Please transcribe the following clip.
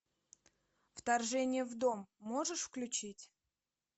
вторжение в дом можешь включить